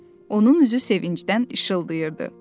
Onun üzü sevincdən işıldayırdı.